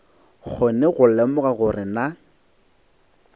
kgone go lemoga gore na